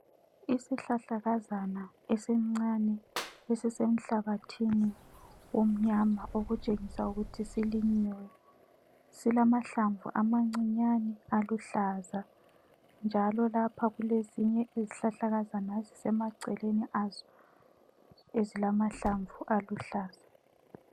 Isihlahlakazana esincane esisenhlabathini omnyama okutshengisa ukuthi silinyiwe ,silamahlamvu amancinyane aluhlaza njalo lapha kulezinye izihlahlakazana ezisemaceleni azo ezilamahlamvu aluhlaza